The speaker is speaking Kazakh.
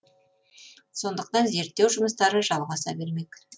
сондықтан зерттеу жұмыстары жалғаса бермек